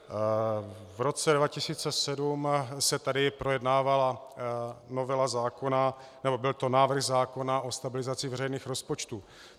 V roce 2007 se tady projednávala novela zákona, nebo to byl návrh zákona o stabilizaci veřejných rozpočtů.